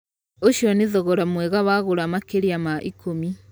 ũcio nĩ thogora mwega wagũra makĩria ma ikumi